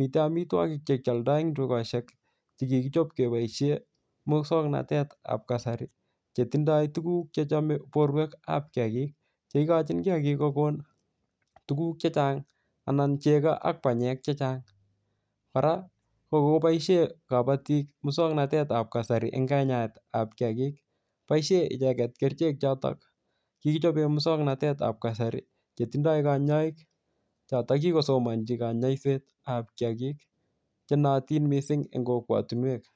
miten amitwogik chekioldo en tugoshek chekikichob keboishen muswoknotetab kasari chetindoi tuguk chechome borwekab kiagik cheikochin kiagik koko tuguk chechang anan chego ak banyek chechang kora kokoboishen kabotik muswoknotetab kasari en kanyaetab kiagik chetindoi kanyoik choton kikosomnchi kanyoisetab kiagik chenootin mising en kokwo tinwek